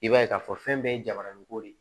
I b'a ye k'a fɔ fɛn bɛɛ ye jabarani ko de ye